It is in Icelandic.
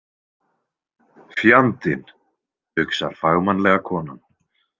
Fjandinn, hugsar fagmannlega konan.